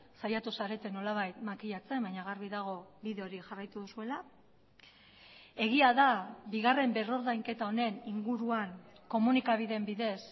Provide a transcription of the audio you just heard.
saiatu zarete nolabait makilatzen baina garbi dago bide hori jarraitu duzuela egia da bigarren berrordainketa honen inguruan komunikabideen bidez